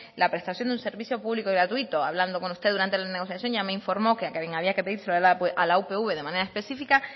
la prestación de un servicio público y gratuito hablando con usted durante la negociación ya me informó que a quien había que pedírselo era a la upv de manera específica